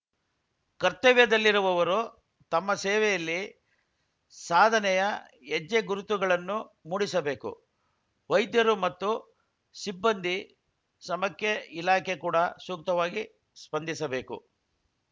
ಕರ್ತವ್ಯದಲ್ಲಿರುವವರು ತಮ್ಮ ಸೇವೆಯಲ್ಲಿ ಸಾಧನೆಯ ಹೆಜ್ಜೆ ಗುರುತುಗಳನ್ನು ಮೂಡಿಸಬೇಕು ವೈದ್ಯರು ಮತ್ತು ಸಿಬ್ಬಂದಿ ಸ್ರಮಕ್ಕೆ ಇಲಾಖೆ ಕೂಡ ಸೂಕ್ತವಾಗಿ ಸ್ಪಂದಿಸಬೇಕು